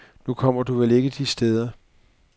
Nu kommer du vel ikke de steder.